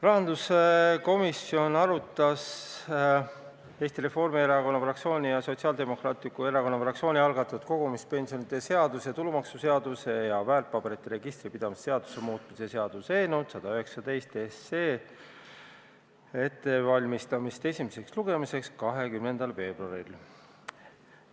Rahanduskomisjon arutas Eesti Reformierakonna fraktsiooni ja Sotsiaaldemokraatliku Erakonna fraktsiooni algatatud kogumispensionide seaduse, tulumaksuseaduse ja väärtpaberite registri pidamise seaduse muutmise seaduse eelnõu 119 ettevalmistamist esimeseks lugemiseks 20. veebruaril.